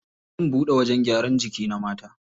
Zan buɗe wajen gyaran jiki na mata.